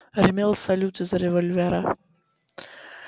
гремел салют из револьвера